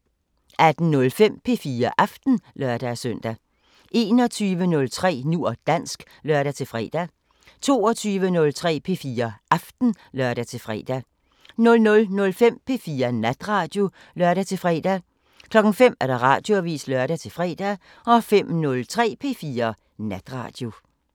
18:05: P4 Aften (lør-søn) 21:03: Nu og dansk (lør-fre) 22:03: P4 Aften (lør-fre) 00:05: P4 Natradio (lør-fre) 05:00: Radioavisen (lør-fre) 05:03: P4 Natradio